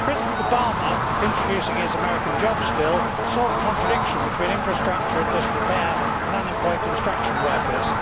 President Obama, introducing his American job spill, saw the contradiction between infrastructure and disrepair and unemployed construction workers.